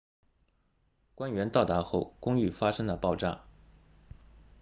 官员到达后公寓发生了爆炸